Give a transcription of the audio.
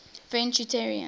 french unitarians